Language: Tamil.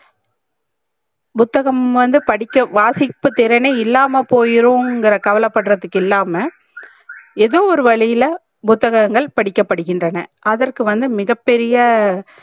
புத்தகம் வந்து படிக்க வாசிப்பு திறனே இல்லமா போயிரும் இங்கர கவலப் படுரதுக்கு இல்லாம ஏதோ ஒரு வழியில புத்தகங்கல் படிக்கப் படிகிட்றன அதற்கு வந்து மிக பெரிய